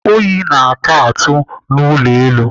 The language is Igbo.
Oyi na-aka atụ n'ụlọ elu.